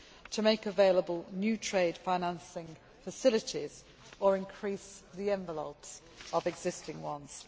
to make available new trade financing facilities or increase the envelopes of existing ones.